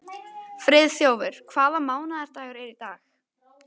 Friðþjófur, hvaða mánaðardagur er í dag?